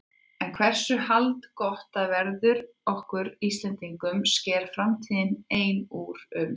En hversu haldgott það verður okkur Íslendingum sker framtíðin ein úr um.